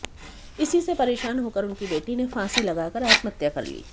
इसी से परेशान होकर उनकी बेटी ने फांसी लगाकर आत्महत्या कर ली